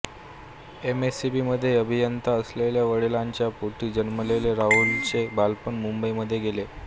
M S E B मध्ये अभियंता असलेल्या वडिलांच्या पोटी जन्मलेल्या राहुलचे बालपण मुंबईमध्ये गेले